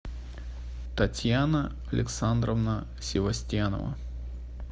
татьяна александровна севастьянова